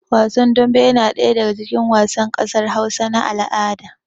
Wasan dambe yana ɗaya daga cikin wasan ƙasar Hausa na al'ada